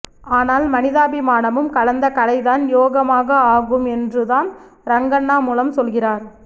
ஆனால் மனிதாபிமானமும் கலந்த கலைதான் யோகமாக ஆகும் என்றுதான் ரங்கண்ணா மூலம் சொல்கிறார்